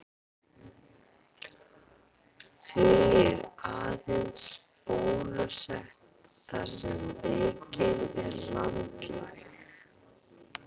Því er aðeins bólusett þar sem veikin er landlæg.